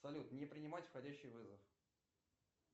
салют не принимать входящий вызов